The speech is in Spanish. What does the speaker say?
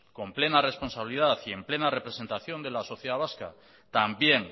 con plena responsabilidad y en plena representación de la sociedad vasca también